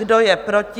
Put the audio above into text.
Kdo je proti?